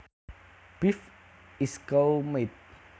Beef is cow meat